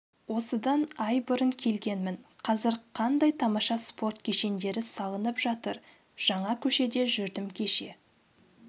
осыдан ай бұрын келгенмін қазір қандай тамаша спорт кешендері салынып жатыр жаңа көшеде жүрдім кеше